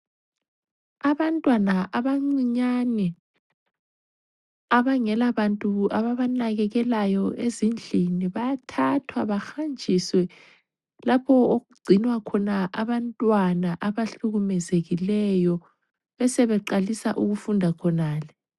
Abantwana abacinyane abangela bantu ababanakekelayo ezindlini. Bayathathwa behanjiswe lapho okugcinwa khona abantwana abahlukumezekileyo. Besebe qalisa ukufunda khonale.